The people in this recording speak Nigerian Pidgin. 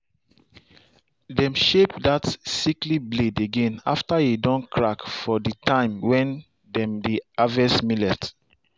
dem shape that sickly blade again after e don crack for the time when dem dey harvest millet.